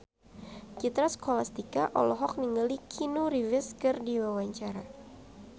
Citra Scholastika olohok ningali Keanu Reeves keur diwawancara